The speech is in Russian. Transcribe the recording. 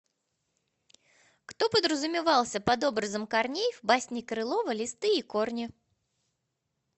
кто подразумевался под образом корней в басне крылова листы и корни